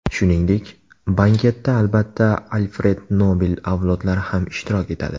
Shuningdek, banketda albatta Alfred Nobel avlodlari ham ishtirok etadi.